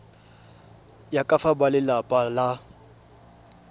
ya ka fa balelapa ba